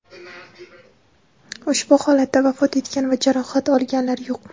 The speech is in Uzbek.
Ushbu holatda vafot etgan va jarohat olganlar yo‘q.